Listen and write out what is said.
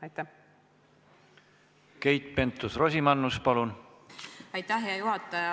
Aitäh, hea juhataja!